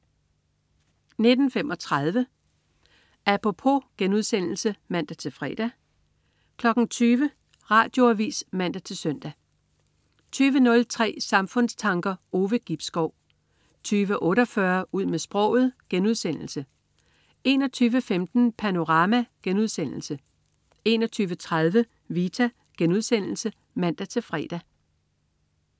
19.35 Apropos* (man-fre) 20.00 Radioavis (man-søn) 20.03 Samfundstanker. Ove Gibskov 20.48 Ud med sproget* 21.15 Panorama* 21.30 Vita* (man-fre)